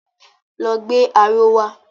Lọ gbé aró wa!